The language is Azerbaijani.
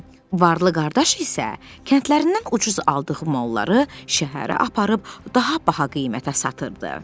Varlı qardaş isə kəndlərindən ucuz aldığı malları şəhərə aparıb daha baha qiymətə satırdı.